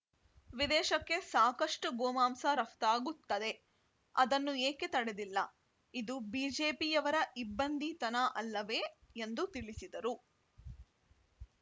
ವಿದೇಶಕ್ಕೆ ಸಾಕಷ್ಟುಗೋಮಾಂಸ ರಫ್ತಾಗುತ್ತದೆ ಅದನ್ನು ಏಕೆ ತಡೆದಿಲ್ಲ ಇದು ಬಿಜೆಪಿಯವರ ಇಬ್ಬಂದಿತನ ಅಲ್ಲವೇ ಎಂದು ತಿಳಿಸಿದರು